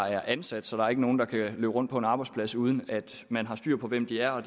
er ansat så der ikke er nogen der kan løbe rundt på en arbejdsplads uden at man har styr på hvem de er og